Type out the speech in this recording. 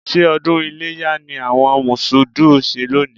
Ṣé ọdún iléyá ni àwọn Mọ̀ṣúùdù ń ṣe lónìí?